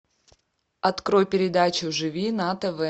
открой передачу живи на тв